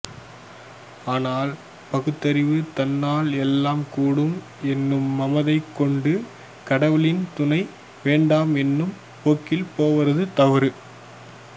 ஆனால் பகுத்தறிவு தன்னால் எல்லாம் கூடும் என்று மமதை கொண்டு கடவுளின் துணை வேண்டாம் என்னும் போக்கில் போவது தவறு